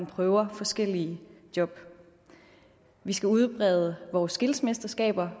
prøver forskellige job vi skal udbrede vores skillsmesterskaber